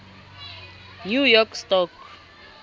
new york stock